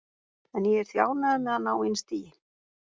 En ég er því ánægður með að ná inn stigi.